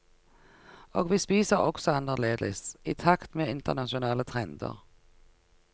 Og vi spiser også annerledes, i takt med internasjonale trender.